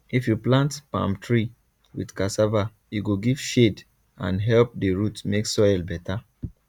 if you plant palm tree with cassava e go give shade and help the root make soil better